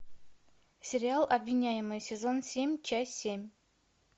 сериал обвиняемые сезон семь часть семь